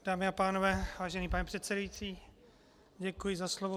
Dámy a pánové, vážený pane předsedající, děkuji za slovo.